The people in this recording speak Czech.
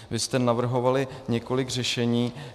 Vy jste navrhovali několik řešení.